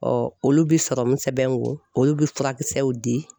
olu bi serɔmu sɛbɛn n kun olu bɛ furakisɛw di